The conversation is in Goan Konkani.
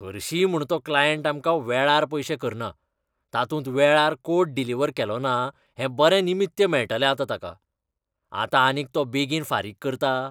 हरशींय म्हूण तो क्लायंट आमकां वेळार पयशे करना, तातूंत वेळार कोड डिलिव्हर केलोना हें बरें निमित्य मेळटलें आतां ताका. आतां आनीक तो बेगीन फारीक करता?